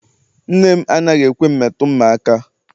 Nne m anaghị ekwe m metụ mma aka.